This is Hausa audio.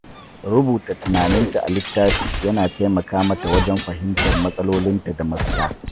Rubuta tunaninta a littafi yana taimaka mata wajen fahimtar matsalolinta da mafita.